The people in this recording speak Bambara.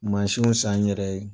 Mansiw san n yɛrɛ ye